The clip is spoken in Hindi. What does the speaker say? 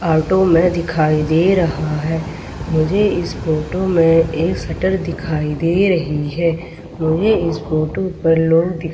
ऑटो में दिखाई दे रहा है मुझे इस फोटो में एक शटर दिखाई दे रही है मुझे इस फोटो पर लोग दिखा --